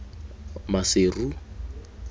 maseru